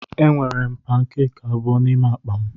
Enwere m pankeki abụọ n'ime akpa m.